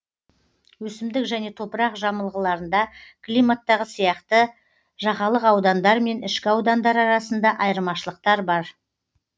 өсімдік және топырақ жамылғыларында климаттағы сияқты жағалық аудандар мен ішкі аудандар арасында айырмашылықтар бар